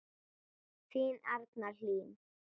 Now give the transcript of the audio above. Þín Arna Hlín.